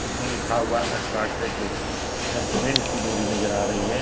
इसमें लिखा हुआ अल्ट्राटेच । यह सीमेंट की बोरी नजर आ रही है।